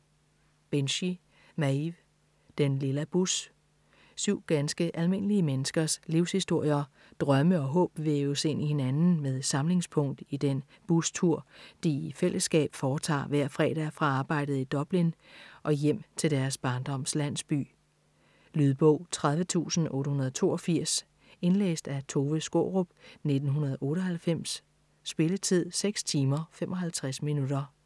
Binchy, Maeve: Den lilla bus Syv ganske almindelige menneskers livshistorier, drømme og håb væves ind i hinanden med samlingspunkt i den bustur, de i fællesskab foretager hver fredag fra arbejdet i Dublin og hjem til deres barndoms landsby. Lydbog 30882 Indlæst af Tove Skaarup, 1998. Spilletid: 6 timer, 55 minutter.